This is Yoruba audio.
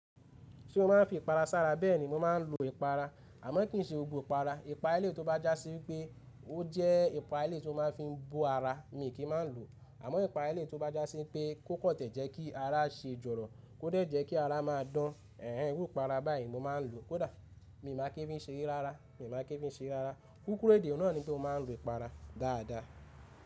Ṣé o máa ń fi ìpara sára bẹ́ẹ̀ni mo máa ń lo ìpara àmọ́ kì í ṣe gbogbo ìpara. Ìpara eléyìí tó bá já sí wípé ó jẹ́ ìpara eléyìí tó máa ń fi bọ ara mi kì í má lo. Àmọ́ ìpara ẹlẹ́yìí tó bá já sí pé kó kan jẹ́ kí ara ṣe jọ̀rọ̀ kóde jẹ́ kí ara máa dán. Ẹ̀hẹn irú ìpara báyìí mo máa ń lo kódà mi ò maa kí n fi ṣere rárá mi ò maa kí n fi ṣe rárá. Kúkúrù èdè náà nipe mó máa ń lo ìpara dáadáa.